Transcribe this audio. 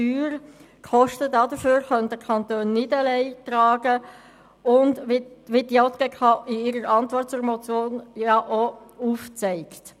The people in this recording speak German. Die Kosten dafür könnten die Kantone nicht alleine tragen, wie die JGK in ihrer Antwort auf die Motion denn auch aufzeigt.